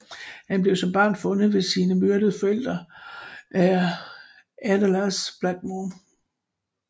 Han blev som barn fundet ved sine myrdede forældre af Aedelas Blackmoore